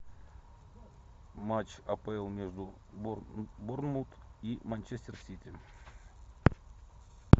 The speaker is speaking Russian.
матч апл между борнмут и манчестер сити